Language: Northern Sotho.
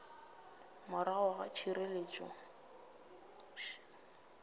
morago ga therišano le ka